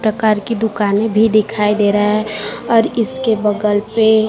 प्रकार की दुकानें भी दिखाई दे रहा है और इसके बगल पे--